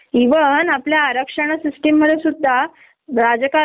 तर ते म्हंटले ठीक् आहे तू एच.आर. डिपार्टमेंटशी बोलुन घे आणि घेऊन ताक तु सुट्टी